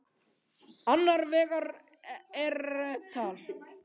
Annar vegar er et al.